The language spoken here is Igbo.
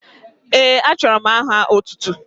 Ee, achọrọ m aha otụtụ.